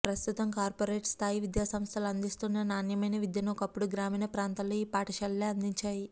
ప్రస్తుతం కార్పోరేట్ స్థాయి విద్యా సంస్థలు అందిస్తున్న నాణ్యమైన విద్యను ఒకప్పుడు గ్రామీణ ప్రాంతాల్లో ఈ పాఠశాలలే అందించాయి